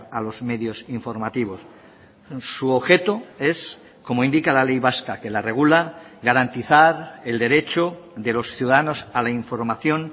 a los medios informativos su objeto es como indica la ley vasca que la regula garantizar el derecho de los ciudadanos a la información